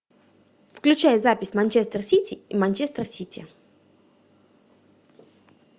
включай запись манчестер сити и манчестер сити